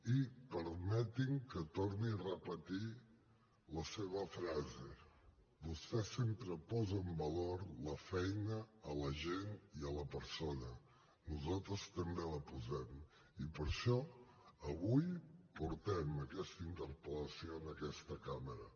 i permeti’m que torni a repetir la seva frase vostè sempre posa en valor la feina l’agent i la persona nosaltres també la posem i per això avui portem aquesta interpel·lació en aquesta cambra